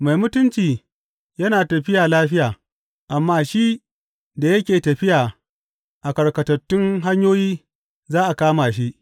Mai mutunci yana tafiya lafiya, amma shi da yake tafiya a karkatattun hanyoyi za a kama shi.